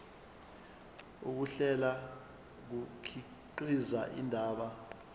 ukuhlela kukhiqiza indaba